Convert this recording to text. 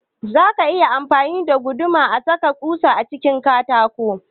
Za a iya amfani da guduma a saka ƙusa cikin katako